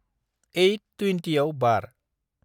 एइत त्वेनतियाव बार।